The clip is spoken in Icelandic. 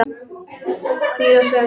Hvílast vel.